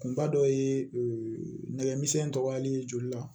Kunba dɔ ye nɛgɛmisɛnnin tɔgɔyali joli la